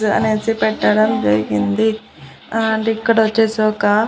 అనేసి పెట్టడం జరిగింది ఆ అంటే ఇక్కడొచ్చేసి ఒక--